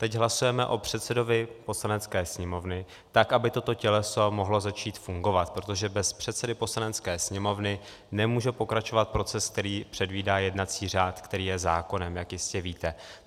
Teď hlasujeme o předsedovi Poslanecké sněmovny, tak aby toto těleso mohlo začít fungovat, protože bez předsedy Poslanecké sněmovny nemůže pokračovat proces, který předvídá jednací řád, který je zákonem, jak jistě víte.